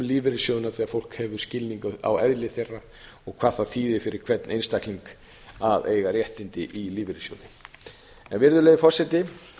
lífeyrissjóðina þegar fólk hefur skilning á eðli þeirra og hvað það þýðir fyrir hvern einstakling að eiga réttindi í lífeyrissjóði virðulegi forseti